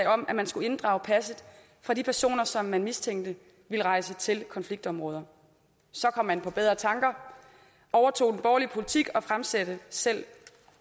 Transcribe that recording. om at man skulle inddrage passet for de personer som man mistænkte ville rejse til konfliktområder så kom man på bedre tanker overtog den borgerlige politik og fremsatte selv